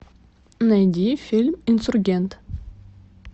найди фильм инсургент